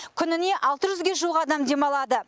күніне алты жүзге жуық адам демалады